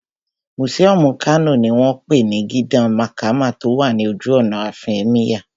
Mùsíọ̀mù Kano ní wọ́n pè ní Gidan Makama tó wà ní ojú ọ̀nà àfin Ẹ́míyà